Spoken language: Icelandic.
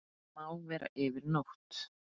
Má vera yfir nótt.